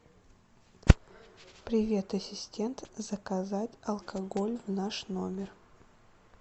привет ассистент заказать алкоголь в наш номер